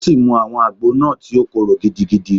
O si mu awọn ágbò náá, ti o kòro gidigidi